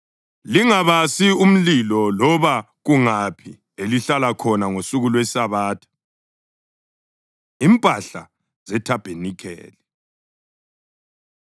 Lingabasi umlilo loba kungaphi elihlala khona ngosuku lweSabatha.” Impahla ZeThabanikeli